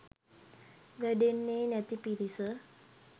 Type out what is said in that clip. වැඩෙන්නෙ නැති පිරිස.